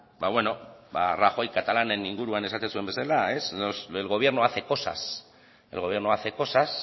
ba beno rajoy katalanen inguruan esaten zuen bezala el gobierno hace cosas el gobierno hace cosas